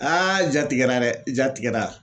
ja tigɛra dɛ i ja tigɛra